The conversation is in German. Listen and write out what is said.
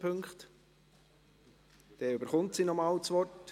Dann erhält sie noch einmal das Wort.